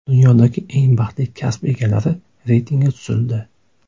Dunyodagi eng baxtli kasb egalari reytingi tuzildi.